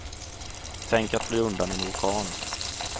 Tänk att fly undan en orkan.